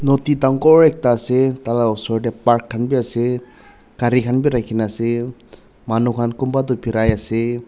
nodi dangor ekta ase taila osor tae park khan bi ase gari khan bi rakhikaena ase manu khan kunba toh biraiase.